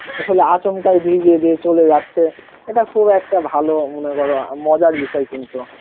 আসলে আচমকাই ভিজিয়ে দিয়ে চলে যাচ্ছে এটা খুব একটা ভালো মনে কর মজার বিষয় কিন্তু